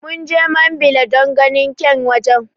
Munje mambila don ganin kyan wajen